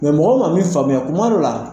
mɔgɔ ma mi faamuya kuma dɔ la